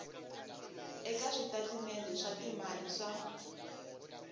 eka switatimende swa timali swa